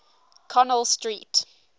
connell street